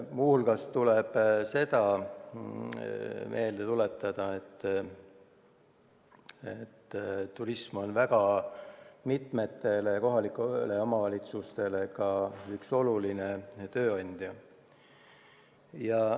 Muu hulgas tuleb meelde tuletada seda, et turism on mitmetele kohalikele omavalitsustele ka üks oluline tööandja.